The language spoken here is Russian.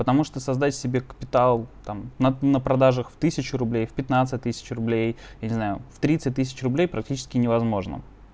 потому что создать себе капитал там на на продажах в тысячу рублей в пятнадцать тысяч рублей не знаю в тридцать тысяч рублей практически невозможно